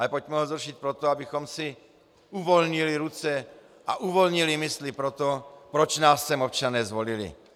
Ale pojďme ho zrušit proto, abychom si uvolnili ruce a uvolnili mysli pro to, proč nás sem občané zvolili.